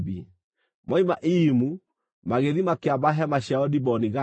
Moima Iyimu, magĩthiĩ makĩamba hema ciao Diboni-Gadi.